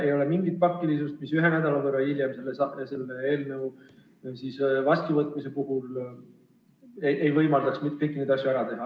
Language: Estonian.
Ei ole mingit pakilisust, mis ühe nädala võrra hiljem selle eelnõu vastuvõtmise puhul ei võimaldaks kõiki neid asju ära teha.